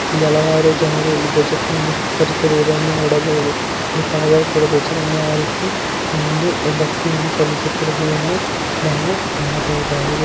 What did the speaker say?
ಇಲ್ಲಲ್ಲರು ಜನರು ಎಲ್ಲಿಂದು ನೋಡಬಹುದು. ಇಲ್ಲಿ ಫಾದರ್ ಕೂಡಾ ಧ್ವಜವನ್ನು ಹಾರಿಸಿ ಒಂದು ಭಕ್ತಿಯನು ಸಲ್ಲಿಸುತ್ತಿರುವುದನ್ನು ನಾವು ಕಾಣಬಹುದಾಗಿದೆ.